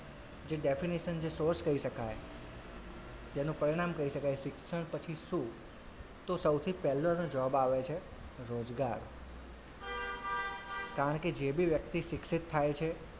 જે definition જે source કહીં શકાય જેનું પરિણામ કહીં શકાય શિક્ષણ પછી શું? તો સૌથી પહેલો એનો જવાબ આવે છે રોજગાર કારણ કે જે બી વ્યક્તિ શિક્ષિત થાય છે,